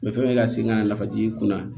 ka segin ka na nafaji kunna